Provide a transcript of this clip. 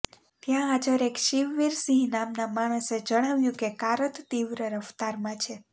ત્યાં હાજર એક શિવવીરસિંહ નામના માણસે જણાવ્યું કે કારત તીવ્ર રફતારમાં હતી